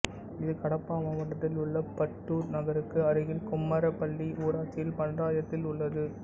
இது கடப்பா மாவட்டத்தில் உள்ள பட்டுத்தூர் நகருக்கு அருகில் கும்மரப்பள்ளி ஊராட்சியில் பஞ்சாயத்தில் உள்ளது